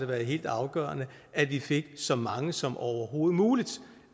været helt afgørende at vi fik så mange som overhovedet muligt